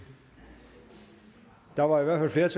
der var i hvert